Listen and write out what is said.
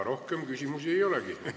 Rohkem küsimusi ei olegi.